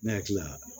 Ne hakili la